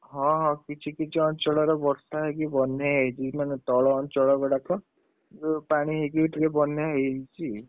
ହଁ ହଁ କିଛି କିଛି ଅଞ୍ଚଳର ବର୍ଷା ହେଇକି ବନ୍ୟା ହେଇଛି, ମାନେ ତଳ ଅଞ୍ଚଳ ଗୁଡାକ, ଯୋଉ ପାଣି ହେଇକି ଟିକେ ବନ୍ୟା ହେଇଛି,